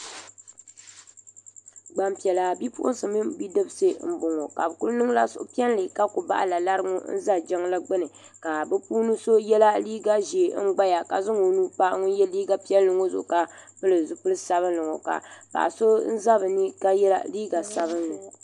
Gbampiɛla bipuɣinsi mini bidibisi m boŋɔ ka bɛ kuli niŋla suhupiɛlli ka kuli bahila lari n za jiŋli gbini ka bɛ puuni so yɛla liiga ʒee n gbaya ka zaŋ o nuu gbaagi ŋun ye liiga piɛlli ŋɔ ka pili zipil'sabinli ŋɔ ka paɣa so n za bɛni ka ye liiga sabinli.